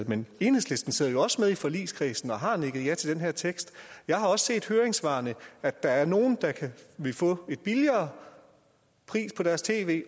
men enhedslisten sidder jo også med i forligskredsen og har nikket ja til den her tekst jeg har også set i høringssvarene at der er nogle der vil få en billigere pris på deres tv